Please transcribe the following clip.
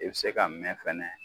I be se ka mɛn fɛnɛ